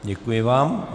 Děkuji vám.